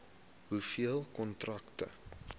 hoeveel kontrakte